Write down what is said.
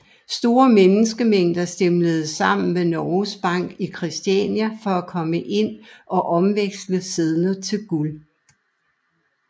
Store menneskemængder stimlede sammen ved Norges Bank i Kristiania for at komme ind og omveksle sedler til guld